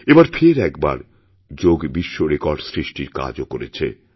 এবার ফের একবার যোগ বিশ্ব রেকর্ড সৃষ্টিরকাজও করেছে